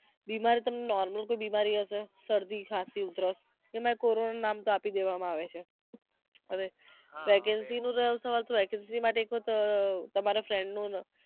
બીમારી તો તમને normal બિમારી હશે સરદી ખાસી ઉધરસ એમા કોરોનાનું નામ તો આપી દેવા માં આવે છે હવે vacancy જો સવાલ નથી vacancy માટે તો એક વખત અમ તમારા frined નું